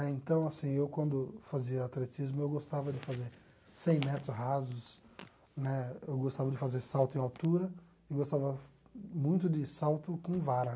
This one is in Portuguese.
Né então, assim, eu quando fazia atletismo, eu gostava de fazer cem metros rasos, né, eu gostava de fazer salto em altura e gostava muito de salto com vara.